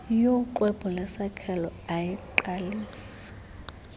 yoxwebhu lesakhelo ayiqalisi